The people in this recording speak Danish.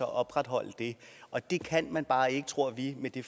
opretholde det og det kan man bare ikke tror vi med det